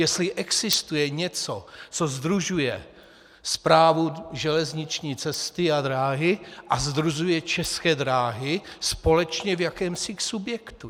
Jestli existuje něco, co sdružuje Správu železniční cesty a dráhy a sdružuje České dráhy společně v jakémsi subjektu.